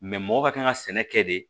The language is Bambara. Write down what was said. mɔgɔ ka kan ka sɛnɛ kɛ de